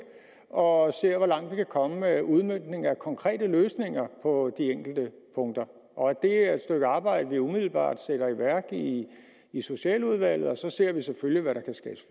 og ser hvor langt vi kan komme med udmøntningen af konkrete løsninger på de enkelte punkter og at det er et stykke arbejde vi umiddelbart sætter i værk i socialudvalget så ser vi selvfølgelig hvad der kan skabes